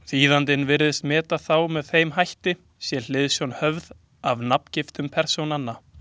Þýðandinn virðist meta þá með þeim hætti, sé hliðsjón höfð af nafngiftum persónanna.